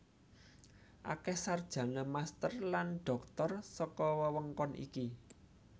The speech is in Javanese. Akeh sarjana master lan dhoktor saka wewengkon ini